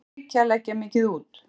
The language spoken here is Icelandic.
Hvað það ríkið að leggja mikið út?